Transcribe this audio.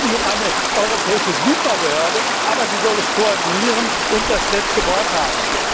Es geht nicht um eine europäische Superbehörde, aber sie soll es koordinieren und das letzte Wort haben.